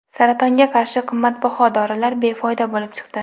Saratonga qarshi qimmatbaho dorilar befoyda bo‘lib chiqdi.